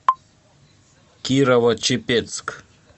кирово чепецк